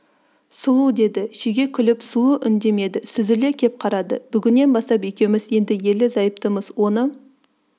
сұлу деді шеге күліп сұлу үндемеді сүзіле кеп қарады бүгіннен бастап екеуміз енді ерлі-зайыптымыз оны